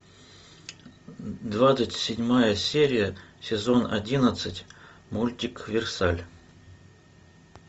двадцать седьмая серия сезон одиннадцать мультик версаль